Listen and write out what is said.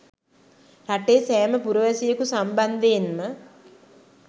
රටේ සෑම පුරවැසියෙකු සම්බන්ධයෙන්ම